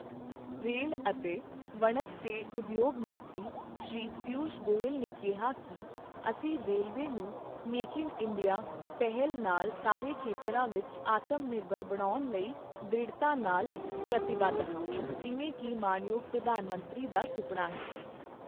rail ਅਤੇ ਵਣਜ ਤੇ ਉਦਯੋਗ ਮੰਤਰੀ, ਸ਼੍ਰੀ ਪੀਊਸ਼ ਗੋਇਲ ਨੇ ਕਿਹਾ ਕਿ, ਅਸੀਂ ਰੇਲਵੇ ਨੂੰ ਮੇਕ ਇਨ ਇੰਡੀਆ ਪਹਿਲ ਨਾਲ ਸਾਰੇ ਖੇਤਰਾਂ ਵਿੱਚ ਆਤਮ ਨਿਰਭਰ ਬਣਾਉਣ ਲਈ ਦ੍ਰਿੜਤਾ ਨਾਲ ਪ੍ਰਤੀਬੱਧ ਹਾਂ ਜਿਵੇਂ ਕਿ ਮਾਣਯੋਗ ਪ੍ਰਧਾਨ ਮੰਤਰੀ ਦਾ ਸੁਪਨਾ ਹੈ